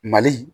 Mali